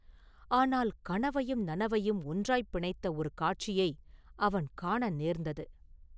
ஆனால் கனவையும் நனவையும் ஒன்றாய்ப் பிணைத்த ஒரு காட்சியை அவன் காண நேர்ந்தது.